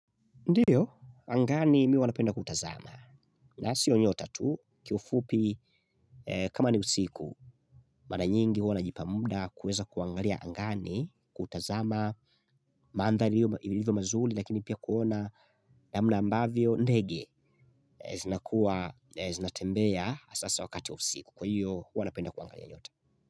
Ndiyo, angani mimi huwa napenda kutazama. Na sio nyota tu, kiufupi, kama ni usiku mara nyingi huwa najipa muda kuweza kuangalia angani, kutazama maandhari iliyo ilivyo mazuri, lakini pia kuona namna ambavyo ndege zinakuwa zinatembea hasa wakati wa usiku. Kwa hiyo, huwa napenda kuangalia nyota.